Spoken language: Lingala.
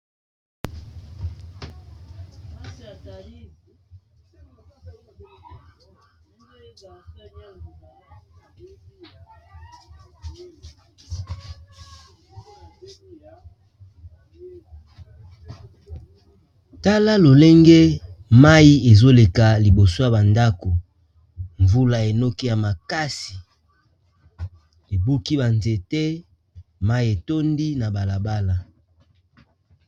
Tala lolenge mayi ezoleka liboso ya ba ndako mvula enoki ya makasi ebuki ba nzete mayi etondi na balabala.